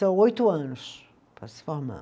São oito anos para se formar.